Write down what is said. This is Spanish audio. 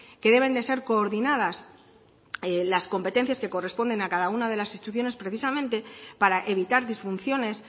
que deben de ser coordinadas las competencias que corresponden a cada una de las instituciones precisamente para evitar disfunciones